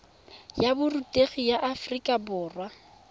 ya borutegi la aforika borwa